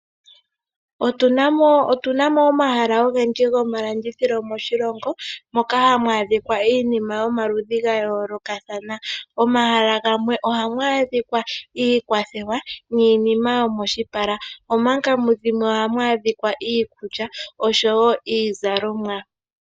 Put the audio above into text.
Otunamo oohala ogendji gomalandithilo moshilongo. Moka hamu adhikwa iinima yomaludhi gayolokathana. Omahala gamwe ohamwa adhikwa iikwathewa niinima yomoshipala. Omanga mudhimwe oha mu adhikwa iikulya oshowo iizalomwa.